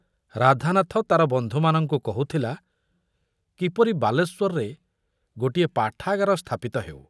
ରାଧାନାଥ ତାର ବନ୍ଧୁମାନଙ୍କୁ କହୁଥିଲା କିପରି ବାଲେଶ୍ୱରରେ ଗୋଟିଏ ପାଠାଗାର ସ୍ଥାପିତ ହେଉ।